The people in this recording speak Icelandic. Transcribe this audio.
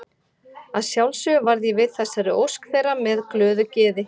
Að sjálfsögðu varð ég við þessari ósk þeirra með glöðu geði.